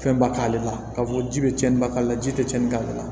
Fɛnba k'ale la k'a fɔ ko ji bɛ cɛnniba k'ale la ji tɛ cɛnni k'ale la